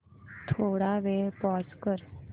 थोडा वेळ पॉझ कर